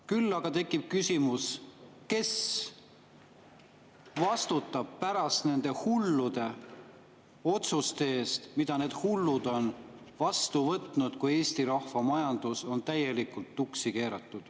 Küll aga tekib küsimus, kes vastutab pärast nende hullude otsuste eest, mida need hullud on vastu võtnud, kui Eesti rahva majandus on täielikult tuksi keeratud.